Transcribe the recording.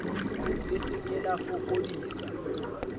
le se ke la fokodisa